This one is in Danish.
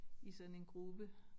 I sådan en gruppe